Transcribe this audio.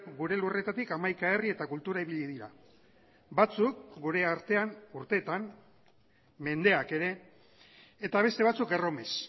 gure lurretatik hamaika herri eta kultura ibili dira batzuk gure artean urteetan mendeak ere eta beste batzuk erromes